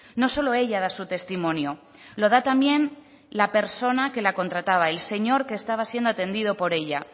no solo ella da su testimonio lo da también la persona que la contrataba el señor que estaba siendo atendido por ella